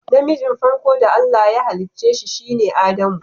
Na mijin farko da Allah ya hallice sine Adamu.